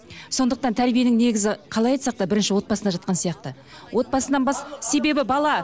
сондықтан тәрбиенің негізі қалай айтсақ та бірінші отбасында жатқан сияқты отбасынан себебі бала